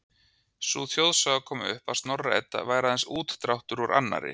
Sú þjóðsaga kom upp að Snorra-Edda væri aðeins útdráttur úr annarri